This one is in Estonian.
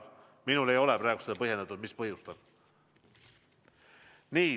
Minule ei ole praegu põhjendatud, mis olid põhjused.